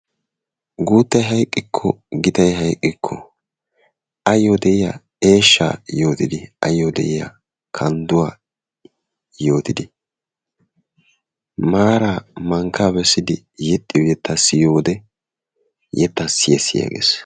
Guuttay hayqqikko, gitay hayqqikko ayyo de'iyaa eeshshaa yootidi, ayyo de'iyaa kandduwaa yootidi maara mankkaa bessidi yeexxiyo yettaa siyyiyo wode yettaa siyya siyya gees.